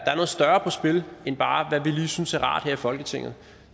er noget større på spil end bare hvad vi lige synes er rart her i folketinget